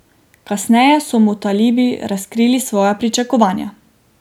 Kasneje so mu talibi razkrili svoja pričakovanja.